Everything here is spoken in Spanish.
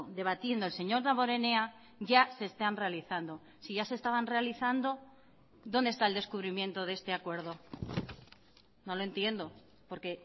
debatiendo el señor damborenea ya se están realizando si ya se estaban realizando dónde está el descubrimiento de este acuerdo no lo entiendo porque